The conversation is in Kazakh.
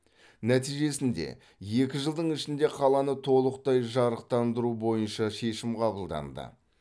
нәтижесінде екі жылдың ішінде қаланы толықтай жарықтандыру бойынша шешім қабылданды